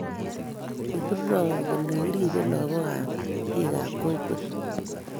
Kigimwowon kole kiribe lagook kab bikap kokwet